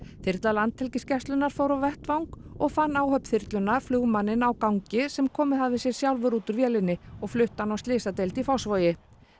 þyrla Landhelgisgæslunnar fór á vettvang og fann áhöfn þyrlunnar flugmanninn á gangi sem komið hafði sér sjálfur út úr vélinni og flutti hann á slysadeild í Fossvogi